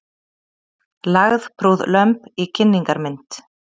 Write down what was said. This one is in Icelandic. Lagðprúð lömb í kynningarmynd